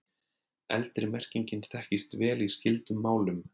Eldri merkingin þekkist vel í skyldum málum.